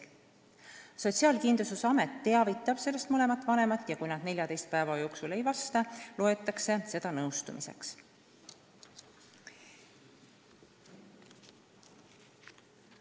Sotsiaalkindlustusamet teavitab sellest mõlemat vanemat ja kui nad 14 päeva jooksul ei vasta, loetakse seda nõustumiseks.